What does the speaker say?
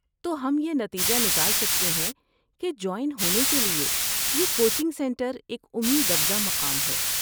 تو ہم یہ نتیجہ نکال سکتے ہیں کہ جوائن ہونے کے لیے یہ کوچنگ سنٹر ایک امید افزا مقام ہے۔